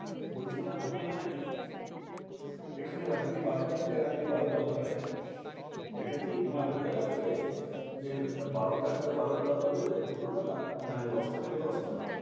বলছে এটা hotel নয়, এখানে রাত্রি বারোটা থেকে রাত্রি বারোটা দফা করা যায়। এটাকি তোমার hotel আছে, যে বারোটা থেকে বারোটা দুপুর বেলা, নাকি দশটা থেকে দশটা?